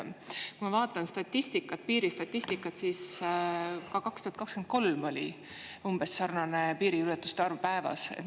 Kui ma vaatan statistikat, piiristatistikat, siis ka 2023. aastal oli umbes sarnane piiriületuste arv päevas.